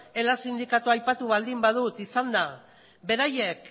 ela sindikatua aipatu baldin badut izan da beraiek